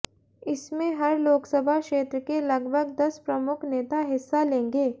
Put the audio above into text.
इसमें हर लोकसभा क्षेत्र के लगभग दस प्रमुख नेता हिस्सा लेंगे